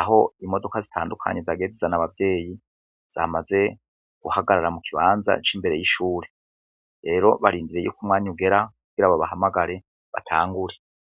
aho imodoka zitandukanye zagiye zizana abavyeyi zamaze guhagarara mu kibanza c'imbere y'ishure. Rero barindiriye ko umwanya ugera kugira babahamagare batangure.